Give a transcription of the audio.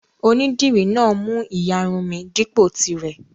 Onídìrí náà mú ìyarun mi dípò tirẹ̀.